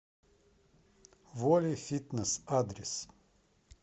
волей фитнес адрес